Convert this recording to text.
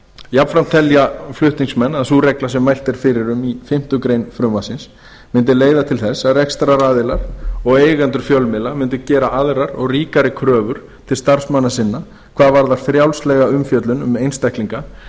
jafnframt telja flutningsmenn að sú regla sem mælt er fyrir um í fimmtu grein frumvarpsins mundi leiða til þess að rekstraraðilar og eigendur fjölmiðla mundu gera aðrar og ríkari kröfur til starfsmanna sinna hvað varðar frjálslega umfjöllun um einstaklinga